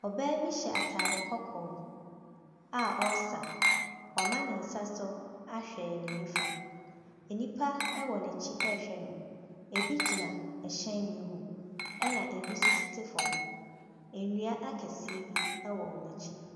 Ɔbaa bi hyɛ atadeɛ kɔkɔɔ a ɔresa. Wama ne nsa so ahwɛ ne nifa. Nnipa wɔ n'akyi rehwɛ no. ɛbi gyina hyɛn bi ho. Ɛna ɛbi nso tete fam. Nnua akɛseɛ bi wɔ wɔn akyi.